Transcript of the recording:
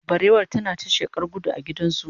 barewar tana ta sheƙa gudu a gidan zoo.